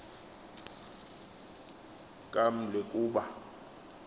kaml e kuba